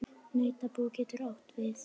Nautabú getur átt við